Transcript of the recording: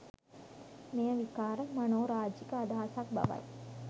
මෙය විකාර, මනෝරාජික අදහසක් බවයි.